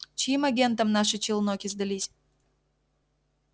чьим агентам наши челноки сдались